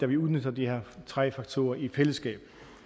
vi udnytter de her tre faktorer i fællesskab